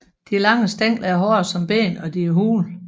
De lange stængler er hårde som ben og de er hule